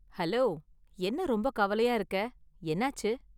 Hello, என்ன ரொம்ப கவலையா இருக்க, என்னாச்சு?